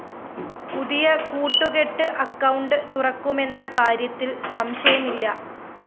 പുതിയ കൂട്ടുകെട്ട് അക്കൌണ്ട്‌ തുറക്കുമെന്ന കാര്യത്തില്‍ സംശയമില്ല